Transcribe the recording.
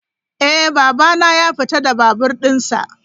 Eh babana ya fita da babur dinsa.